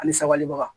Ani sabalibaga